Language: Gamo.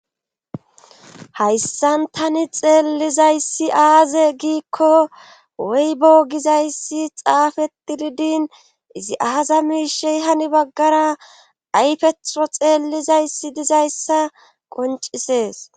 hayssan tani xeellizayssi aaze giikko woybo gizayssi xaafetidi din izi aaza miishey hani baggara aypetho xeellizayssi dizayssa qoncisees.